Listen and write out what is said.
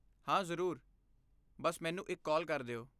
ਹਾਂ ਜਰੂਰ! ਬੱਸ ਮੈਨੂੰ ਇੱਕ ਕਾਲ ਕਰ ਦਿਓ।